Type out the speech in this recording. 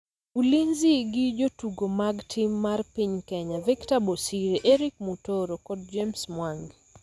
Ulinzi gi jotugo mag tim mar piny Kenya Victor Bosire, Eric Mutoro kod James Mwangi